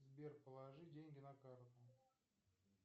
сбер положи деньги на карту